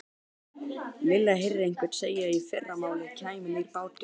Lilla heyrði einhvern segja að í fyrramálið kæmi nýr bátur.